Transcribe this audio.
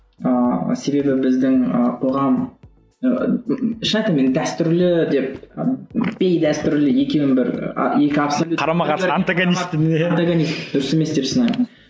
ыыы себебі біздің ы қоғам шын ыыы айтамын мен дәстүрлі деп і бейдәстүрлі екеуін бір а екі абсалют антогонист дұрыс емес деп санаймын